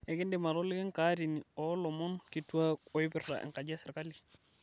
ekindim atoliki enkatini oolomon kituak oipirta enkaji esirkali